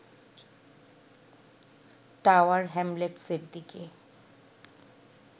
tower হ্যামলেটসের দিকে